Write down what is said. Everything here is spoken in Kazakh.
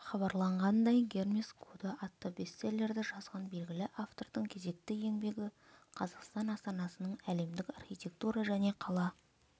хабарлағандай гермес коды атты бестселлерді жазған белгілі автордың кезекті еңбегі қазақстан астанасының әлемдік архитектура және қала